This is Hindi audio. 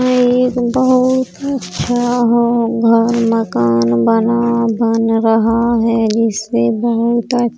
ये एक बहुत अच्छा होम घर मकान बना-बन रहा है जिससे बहोत अ --